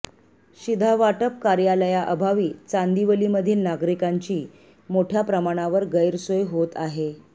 शिधावाटप कार्यालयाअभावी चांदिवलीमधील नागरिकांची मोठय़ा प्रमाणावर गैरसोय होत आहे